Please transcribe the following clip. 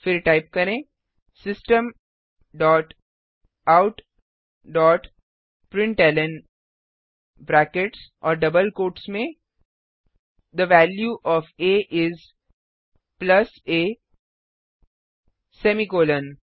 फिर टाइप करेंSystem dot out dot println brackets और डबल कोट्स में थे वैल्यू ओएफ आ इस प्लस आ सेमीकॉलन